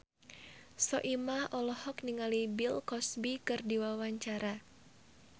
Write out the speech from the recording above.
Soimah olohok ningali Bill Cosby keur diwawancara